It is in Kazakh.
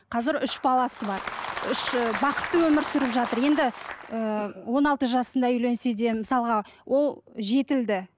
қазір үш баласы бар үш і бақытты өмір сүріп жатыр енді ыыы он алты жасында үйленсе де мысалға ол жетілді